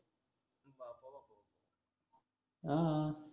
हं